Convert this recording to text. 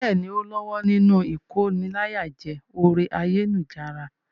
Bẹ́ẹ̀ni, ó lọ́wọ́ nínú ìkóniláyàjẹ orí ayélujára.